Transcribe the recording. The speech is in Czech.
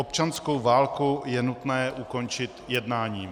Občanskou válku je nutné ukončit jednáním.